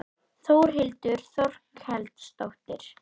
Þórhildur Þorkelsdóttir: Hafið þið hætt leit í dag?